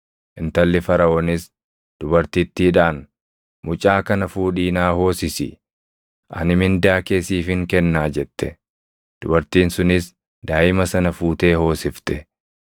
Intalli Faraʼoonis dubartittiidhaan, “Mucaa kana fuudhii naa hoosisi; ani mindaa kee siifin kennaa” jette. Dubartiin sunis daaʼima sana fuutee hoosifte.